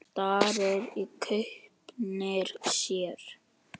Starir í gaupnir sér.